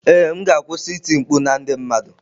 Ee m ga-akwụsị iti mkpu na ndị mmadụ.